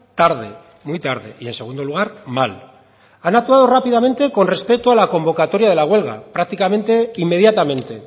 tarde muy tarde y en segundo lugar mal han actuado rápidamente con respecto a la convocatoria de la huelga prácticamente inmediatamente